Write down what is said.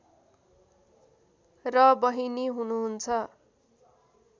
र बहिनी हुनुहुन्छ